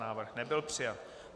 Návrh nebyl přijat.